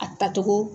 A tacogo